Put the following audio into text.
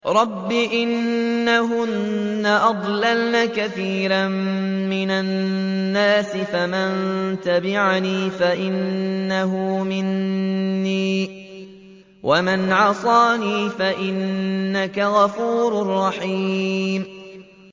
رَبِّ إِنَّهُنَّ أَضْلَلْنَ كَثِيرًا مِّنَ النَّاسِ ۖ فَمَن تَبِعَنِي فَإِنَّهُ مِنِّي ۖ وَمَنْ عَصَانِي فَإِنَّكَ غَفُورٌ رَّحِيمٌ